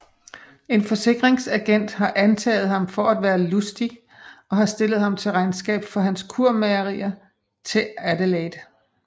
En forsikringsagent har antaget ham for at være Lustig og har stillet ham til regnskab for hans kurmageri til Adelaide